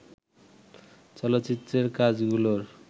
চলচ্চিত্রের কাজগুলোর